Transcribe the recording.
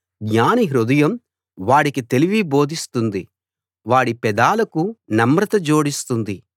జ్ఞాని హృదయం వాడికి తెలివి బోధిస్తుంది వాడి పెదాలకు నమ్రత జోడిస్తుంది